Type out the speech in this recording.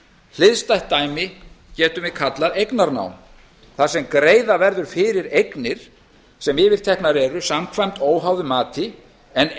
hliðstætt dæmi getum við kallað eignarnám þar sem greiða fyrir fyrir eignir sem yfirteknar eru samkvæmt óháðu mati en